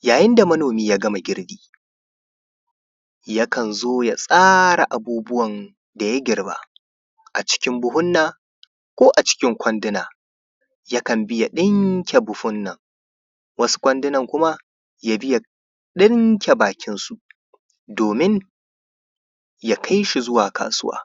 Yayin da manomi ya gama girbi yana zo ya tsara abubuwa da girba a ciki buhuna ko a cikin kwanduna yakan iya ɗinke buhuna wasu kwanduna kuma ya ɗinke bakinsu domin ya kai shi zuwa kasuwa.